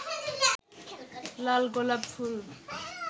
লাল গোলাপ ফুল